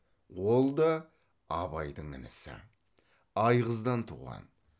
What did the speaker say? ол да абайдың інісі айғыздан туған